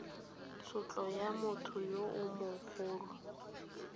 tshotlo ya motho yo mogolo